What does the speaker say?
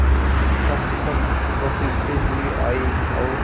खसखस घसीटते हुए आए और